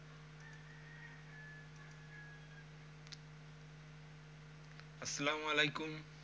আসসালামু আলাইকুম।